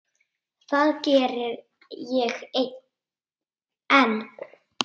Það geri ég enn.